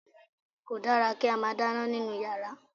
Kò dára kí a máa dáná nínú yàrá